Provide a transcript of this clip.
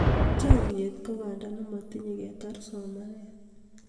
chamiet ko banda nematinye ketar somanet